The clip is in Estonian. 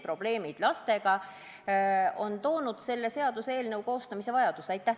Probleemid lastega on tekitanud selle seaduseelnõu koostamise vajaduse.